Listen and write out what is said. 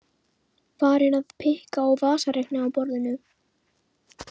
Farin að pikka á vasareikni á borðinu.